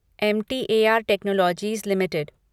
M T A R technologies limited